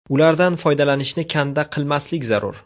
Ulardan foydalanishni kanda qilmaslik zarur.